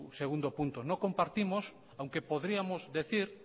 segundo punto no compartimos aunque podríamos decir